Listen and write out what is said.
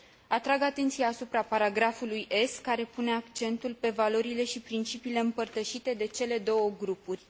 Atrag atenția asupra paragrafului S, care pune accentul pe valorile și principiile împărtășite de cele două grupuri.